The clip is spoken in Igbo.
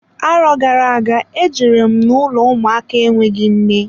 Arọ gara aga, e jere m n'ụlọ ụmụaka enweghị nne.